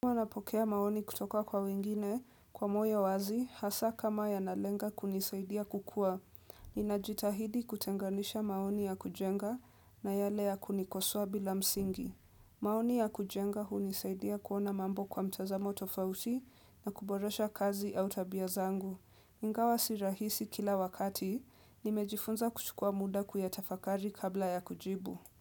Huwa napokea maoni kutoka kwa wengine, kwa moyo wazi, hasa kama ya nalenga kunisaidia kukua. Ninajitahidi kutenganisha maoni ya kujenga na yale ya kunikosoa bila msingi. Maoni ya kujenga hunisaidia kuona mambo kwa mtazamo tofauti na kuboresha kazi au tabia zangu. Ingawa si rahisi kila wakati, nimejifunza kuchukua muda kuyatafakari kabla ya kujibu.